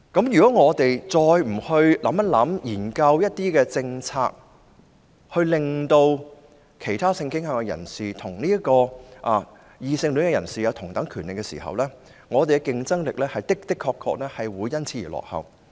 如果政府再不研究一些政策，讓其他性傾向人士與異性戀人士享有同等權利，那麼香港的競爭力的確會因此而落後。